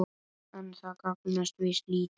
En það gagnast víst lítið.